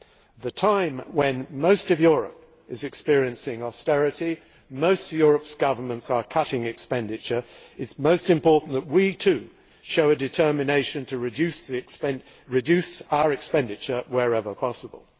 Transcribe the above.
At a time when most of Europe is experiencing austerity and most of Europe's governments are cutting expenditure, it is most important that we, too, show a determination to reduce our expenditure wherever possible.